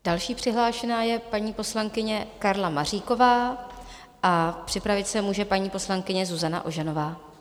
Další přihlášená je paní poslankyně Karla Maříková a připravit se může paní poslankyně Zuzana Ožanová.